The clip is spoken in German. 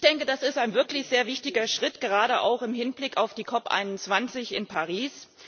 Ich denke, das ist ein wirklich sehr wichtiger Schritt, gerade auch im Hinblick auf die COP 21 in Paris.